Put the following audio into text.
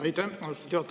Aitäh, austatud juhataja!